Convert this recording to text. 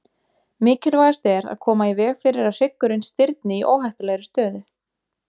Mikilvægast er að koma í veg fyrir að hryggurinn stirðni í óheppilegri stöðu.